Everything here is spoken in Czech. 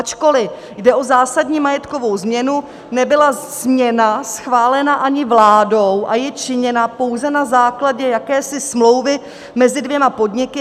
Ačkoliv jde o zásadní majetkovou změnu, nebyla směna schválena ani vládou a je činěna pouze na základě jakési smlouvy mezi dvěma podniky.